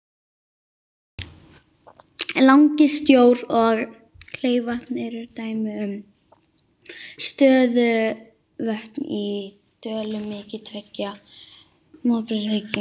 Langisjór og Kleifarvatn eru dæmi um stöðuvötn í dölum milli tveggja móbergshryggja.